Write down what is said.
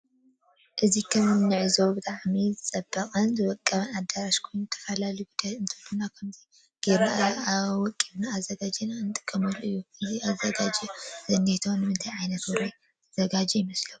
እዚ ከም ንዕዘቦ ብጣዕሚ ዝወቆበን ዝፀበቀን አዳራሽ ኮይኑ ዝትፈላለዩ ጉዳያት እንትህሉው ከምዚ ገይርና አወቂብና አዘጋጅና እንጥቀመሉ እዩ። እዚ ተዛጋጂ ዝንሄ ንምንታይ ዓይነት ውራይ ዝተዘጋጀዎ ይመስለኩም?